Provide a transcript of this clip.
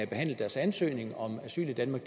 behandlet deres ansøgning om asyl i danmark